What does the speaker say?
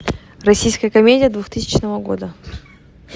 российская комедия двухтысячного года